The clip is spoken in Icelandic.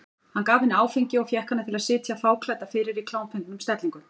Hann gaf henni áfengi og fékk hana til að sitja fáklædda fyrir í klámfengnum stellingum.